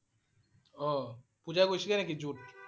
অ' পূজা গৈছিল নেকি zoo ত?